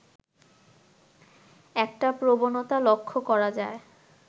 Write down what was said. একটা প্রবণতা লক্ষ্য করা যায়